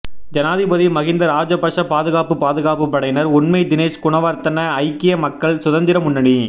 ஜனாதிபதி மஹிந்த ராஜபக்ஷ பாதுகாப்பு பாதுகாப்பு படையினர் உண்மை தினேஷ் குணவர்தன ஐக்கிய மக்கள் சுதந்திர முன்னணி